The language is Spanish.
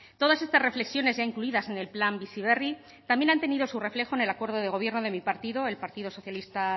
todas estas reflexiones ya incluidas en el plan bizi berri también han tenido su reflejo en el acuerdo de gobierno de mi partido el partido socialista